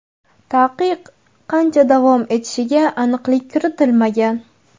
Taqiq qancha davom etishiga aniqlik kiritilmagan.